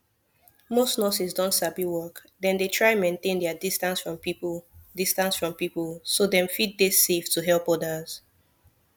most nurses don sabi work dem dey try maintain their distance from people distance from people so dem fit dey safe to help others